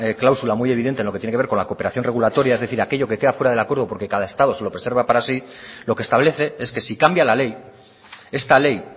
cláusula muy evidente en lo que tiene que ver con la cooperación regulatoria es decir aquello que queda fuera del acuerdo porque cada estado se lo preserva para sí lo que establece es que si cambia la ley esta ley